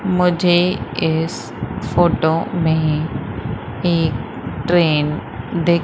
मुझे इस फोटो में एक ट्रेन दिख--